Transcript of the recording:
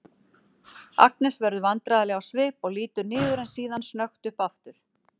Agnes verður vandræðaleg á svip og lítur niður en síðan snöggt upp aftur.